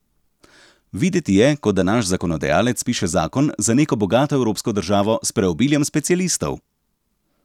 Videti je, kot da naš zakonodajalec piše zakon za neko bogato evropsko državo s preobiljem specialistov.